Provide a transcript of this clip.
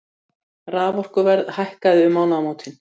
Raforkuverð hækkaði um mánaðamótin